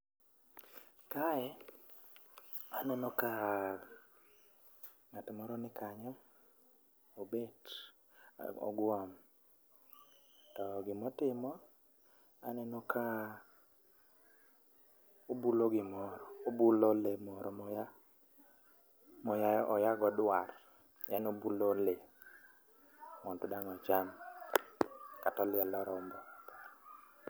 Kae aneno ka ng'at moro nikanyo, obet , ogwom to gima otimo, aneno ka obulo gimoro, obulo lee moro moya moyago dwar. En obulo le mondo dang' ocham ,kata olielo rombo.